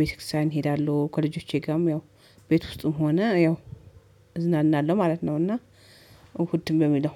ቤተክርስቲያን እሄዳለሁ ከልጆቼ ጋርም ያው ቤት ውስጥም ሆነ ያው እዝናናለሁ ማለት ነው። እና እሁድም በሚለው